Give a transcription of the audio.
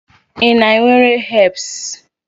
Ị na-ewere herbs?